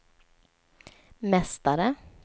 mästare